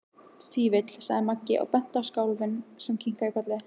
Fífill, sagði Maggi og benti á kálfinn sem kinkaði kolli.